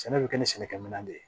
Sɛnɛ bɛ kɛ ni sɛnɛkɛminɛn de ye